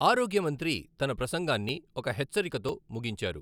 ఆరోగ్యమంత్రి తన ప్రసంగాన్ని ఒక హెచ్చరికతో ముగించారు.